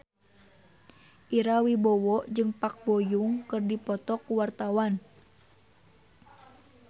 Ira Wibowo jeung Park Bo Yung keur dipoto ku wartawan